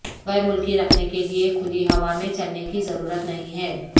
غیر ملکی رکھنے کے لئے کھلی ہوا میں چلنے کی ضرورت نہیں ہے